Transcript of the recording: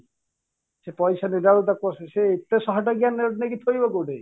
ସେ ପଇସା ଦେଲା ବେଳକୁ ତାକୁ ଏତେ ଶହେ ଟଙ୍କିଆ ନେଇକି ଚଳିବ କୋଉଠି